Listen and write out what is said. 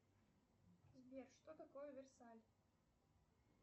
сбер что такое версаль